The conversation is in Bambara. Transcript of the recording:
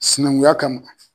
Sinankunya kama.